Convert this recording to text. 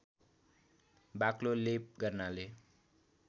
बाक्लो लेप गर्नाले